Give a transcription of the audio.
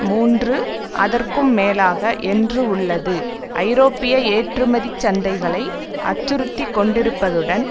மூன்று அதற்கும் மேலாக என்று உள்ளது ஐரோப்பிய ஏற்றுமதி சந்தைகளை அச்சுறுத்திக் கொண்டிருப்பதுடன்